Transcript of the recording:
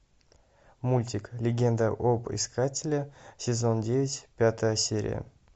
мультик легенда об искателе сезон девять пятая серия